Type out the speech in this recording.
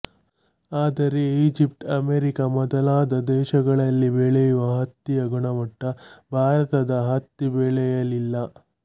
ಆದರೆ Egypt America ಮೊದಲಾದ ದೇಶಗಳಲ್ಲಿ ಬೆಳೆಯುವ ಹತ್ತಿಯ ಗುಣಮಟ್ಟ ಭಾರತದ ಹತ್ತಿಬೆಳೆಯಲ್ಲಿಲ್ಲ